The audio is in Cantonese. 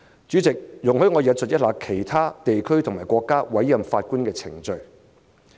主席，容許我引述其他地區和國家委任法官的程序。